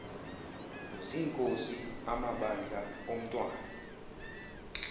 zinkosi amabandla omntwan